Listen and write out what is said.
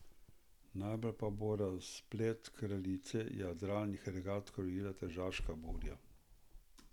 Najbolj pa bo razplet kraljice jadralnih regat krojila tržaška burja.